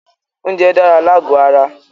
Oúnjẹ dára lágò ara.